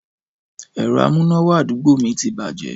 Ẹ̀rọ amúnáwá àdúgbò mi ti bàjẹ́